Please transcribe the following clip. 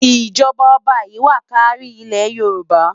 ijọba oba yi wá kàri Ile-yórùbá